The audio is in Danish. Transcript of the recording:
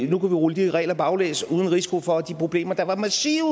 vi rulle de regler baglæns uden risiko for at de problemer der var massive